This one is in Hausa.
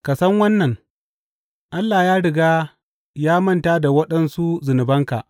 Ka san wannan, Allah ya riga ya manta da waɗansu zunubanka.